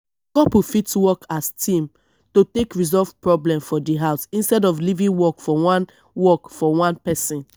couple fit work as team to take resolve problem for di house instead of leaving work for one work for one person